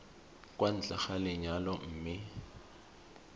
kwa ntle ga lenyalo mme